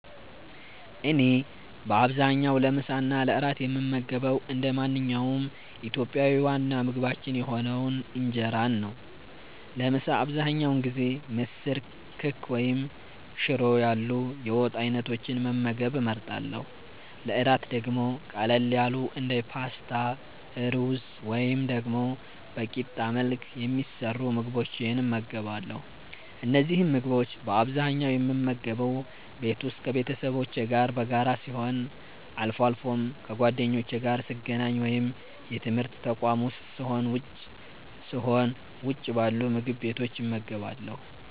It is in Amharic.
እኔ በአብዛኛው ለምሳ እና ለእራት የምመገበው እንደ ማንኛውም ኢትዮጵያዊ ዋና ምግባችን የሆነውን እንጀራን ነው። ለምሳ አብዛኛውን ጊዜ ምስር፣ ክክ ወይም ሽሮ ያሉ የወጥ አይነቶችን መመገብ እመርጣለሁ። ለእራት ደግሞ ቀለል ያሉ እንደ ፓስታ፣ ሩዝ ወይም ደግሞ በቂጣ መልክ የሚሰሩ ምግቦችን እመገባለሁ። እነዚህን ምግቦች በአብዛኛው የምመገበው ቤት ውስጥ ከቤተሰቦቼ ጋር በጋራ ሲሆን፣ አልፎ አልፎም ከጓደኞቼ ጋር ስገናኝ ወይም የትምርት ተቋም ዉስጥ ስሆን ውጭ ባሉ ምግብ ቤቶች እመገባለሁ።